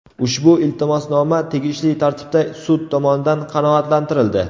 Ushbu iltimosnoma tegishli tartibda sud tomonidan qanoatlantirildi.